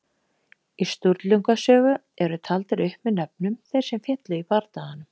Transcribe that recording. Í Sturlunga sögu eru taldir upp með nöfnum þeir sem féllu í bardaganum.